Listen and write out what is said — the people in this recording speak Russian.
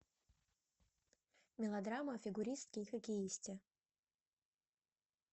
мелодрама о фигуристке и хоккеисте